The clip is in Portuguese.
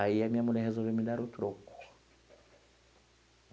Aí a minha mulher resolveu me dar o troco.